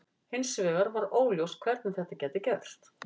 Hins vegar var óljóst hvernig þetta gæti gerst.